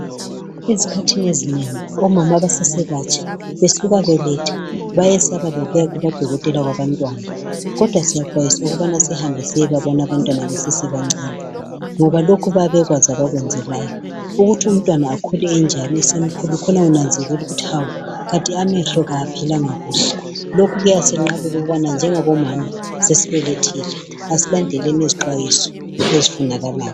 Ezikhathini ezinengi, Omama abasasebatsha, besuka beletha, bayesaba lokuya kubodokotela babantwana, kodwa siyaxwayiswa ukubana sihambe siyebabona abantwana besesebancane. Ngoba lokhu bayabe bekwazi abakwenzelayo. Ukuthi umntwana akhule enjalo, athi esekhulile khona kunanzelelwa, ukuthi amehlo kawaphilanga kuhle. Lokhu kuyasenqabela ukuthi njengabomama nxa sesibelethile, Kasilandeleni izixwayiso ezifunekayo.